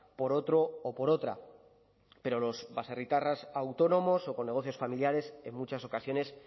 por otro o por otra pero los baserritarras autónomos o con negocios familiares en muchas ocasiones